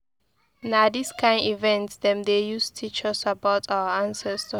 Na dis kain event dem dey use teach us about our ancestors.